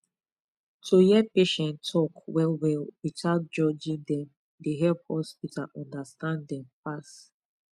to hear patient talk well well without judging dem dey help hospital understand dem pass